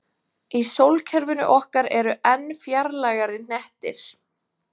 í sólkerfinu okkar eru enn fjarlægari hnettir